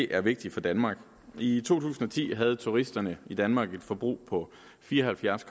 er vigtigt for danmark i to tusind og ti havde turisterne i danmark et forbrug på fire og halvfjerds